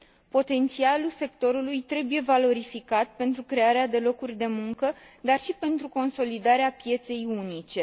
Potențialul sectorului trebuie valorificat pentru crearea de locuri de muncă, dar și pentru consolidarea pieței unice.